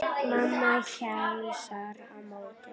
Mamma heilsar á móti.